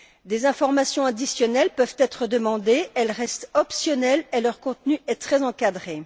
Des informations additionnelles peuvent être demandées. Elles restent optionnelles et leur contenu est très encadré.